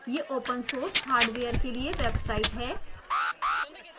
यह open source hardware के लिए वेबसाइट है